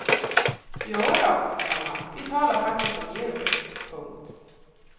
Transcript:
Jodå, komma vi talar faktiskt om djur. punkt